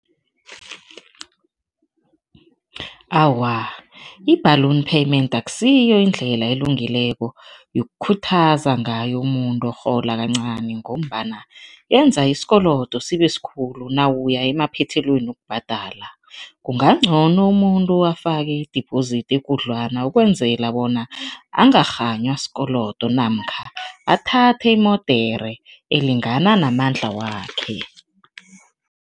Awa, i-balloon payment akusiyo indlela elungileko yokukhuthaza ngayo umuntu orhola kancani ngombana yenza isikolodo sibe sikhulu nawuya emaphethelweni wokubhadala. Kunga ngcono umuntu afake i-deposit ekudlwana ukwenzela bona angakghanywa sikolodo namkha athathe imodere elingana namandla wakhe.